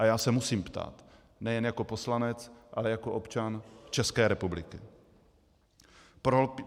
A já se musím ptát - nejen jako poslanec, ale jako občan České republiky.